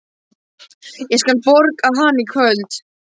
Ég skal borga hana í kvöld.